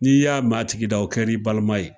N'i y'a mɛn a tigi da, a kɛr'i balima ye.